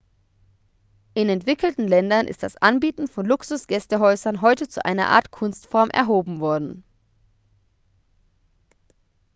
in entwickelten ländern ist das anbieten von luxus-gästehäusern heute zu einer art kunstform erhoben worden